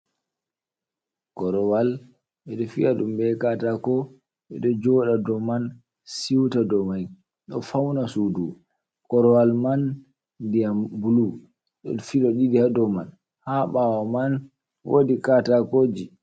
korowal ɓe ɗo fi’a ɗum ɓe katako ɓe ɗo joɗa ɗou man siuta ɗo mai ɗo fauna suɗu ,korowal man ɗiyam ɓulu ɗon filo ɗiɗi ha ɗou man ha ɓawo man woɗi katako ji.